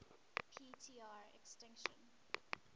p tr extinction